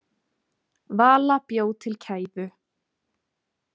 Vala bjó til kæfu.